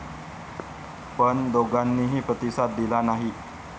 पण दोघांनीही प्रतिसाद दिला नाही.